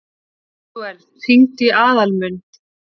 Betúel, hringdu í Aðalmund.